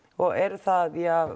eru það